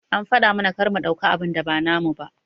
An faɗa mana kar mu ɗauka abun da ba namu ba.